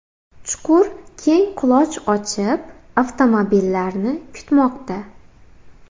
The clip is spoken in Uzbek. Chuqur keng quloch ochib, avtomobillarni kutmoqda.